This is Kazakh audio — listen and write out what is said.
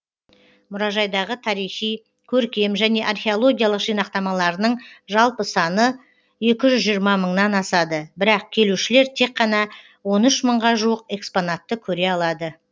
мұражайдағы тарихи көркем және археологиялық жинақтамаларының жалпы саны екі жүз жиырма мыңнан асады бірақ келушілер тек қана он үш мыңға жуық экспонатты көре алады